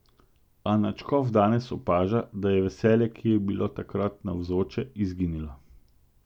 A nadškof danes opaža, da je veselje, ki je bilo takrat navzoče, izginilo.